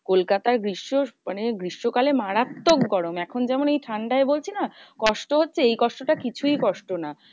কলকাতার গ্রীষ্ম মানে গ্রীষ্মকালে মারাত্মক গরম। এখন যেমন এই ঠান্ডায় বলছি না? কষ্ট হচ্ছে এই কষ্টটা কিছুই কষ্ট না।